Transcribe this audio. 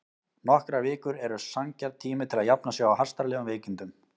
Nokkrar vikur eru sanngjarn tími til að jafna sig á hastarlegum veikindum.